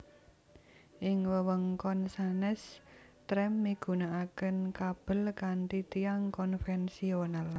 Ing wewengkon sanés trem migunakaken kabel kanthi tiang konvensional